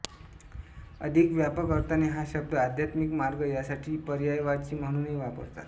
अधिक व्यापक अर्थाने हा शब्द आध्यात्मिक मार्ग यासाठी पर्यायवाची म्हणुनही वापरतात